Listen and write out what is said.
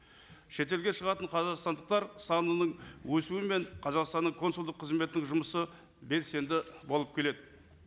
шетелге шығатын қазақстандықтар санының өсуімен қазақстанның консулдық қызметтік жұмысы белсенді болып келеді